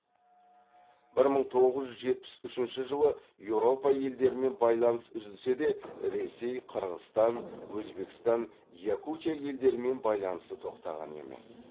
бір мың тоғыз жүз жетпіс үшінші жылы еуропа елдерімен байланыс үзілсе де ресей қырғыстан өзбекстан якутия елдерімен байланысы тоқтаған емес